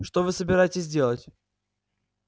что вы собираетесь делать